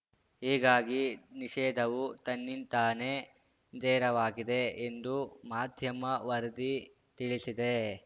ಹೀಗಾಗಿ ನಿಷೇಧವು ತನ್ನಿಂತಾನೇ ತೆರವಾಗಿದೆ ಎಂದು ಮಾಧ್ಯಮ ವರದಿ ತಿಳಿಸಿದೆ